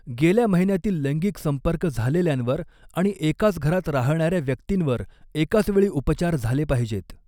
गेल्या महिन्यातील लैंगिक संपर्क झालेल्यांवर आणि एकाच घरात राहणाऱ्या व्यक्तींवर एकाच वेळी उपचार झाले पाहिजेत.